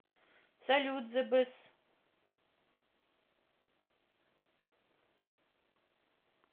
салют збс